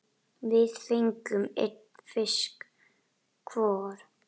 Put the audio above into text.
Við fengum einn fisk hvor.